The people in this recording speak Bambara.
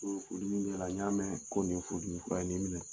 N y'o de furudimi ra, n y'a mɛɛ ko nin ye furudimi fura ye. Nin minɛ!